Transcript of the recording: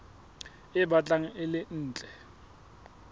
e batlang e le ntle